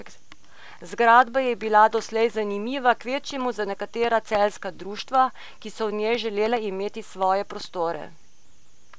Zgradba je bila doslej zanimiva kvečjemu za nekatera celjska društva, ki so v njej želela imeti svoje prostore.